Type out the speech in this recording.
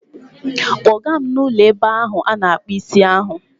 Take me to that barbing salon